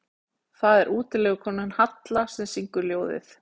Þar er það útilegukonan Halla sem syngur ljóðið.